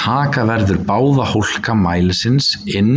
Taka verður báða hólka mælisins inn